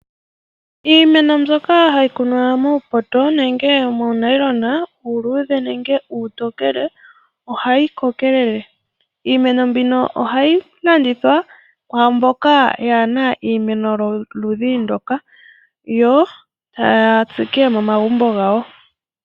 Iimeno mbyoka hayi kunwa muupoto nenge muunayilona uuludhe nenge uutokele, ohayi kokelele. Iimeno mbino ohayi landithwa kwaamboka yaana iimeno yoludhi ndoka, yo taya tsike momagumbo gawo.